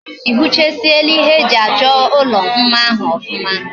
Ihichasiri ihe eji acho ulo mma ahu ofuma?